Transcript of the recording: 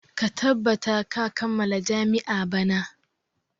Ka tabbata ka kammala jami'a bana!